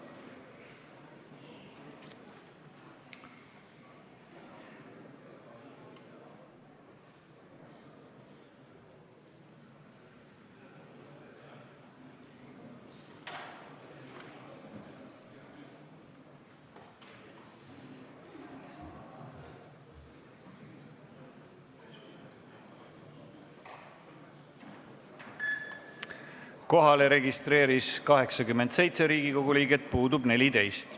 Kohaloleku kontroll Kohalolijaks registreerus 87 Riigikogu liiget, puudub 14.